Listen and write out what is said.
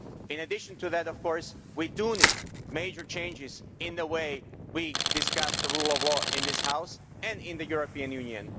In addition to that, of course, we do need major changes in the way we discuss the rule of law in this House and in the European Union.